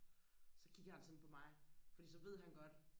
så kigger han sådan på mig fordi så ved han godt